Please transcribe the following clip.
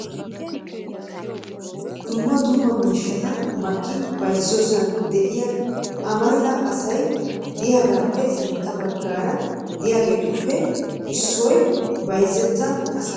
Dumma dumma miishshata makki bayzziyoosan de'iyaa amarida asay de'iyaagappe sintta baggaara de'iyaageetuppe issoyha bayzzita asappe ba koyyidoba shammidi de'ees .